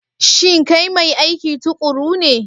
Shin kai mai aiki tuƙuru ne?